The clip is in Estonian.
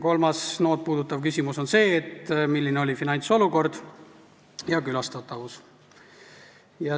Kolmas NO-d puudutav küsimus on see, milline oli finantsolukord ja külastatavus.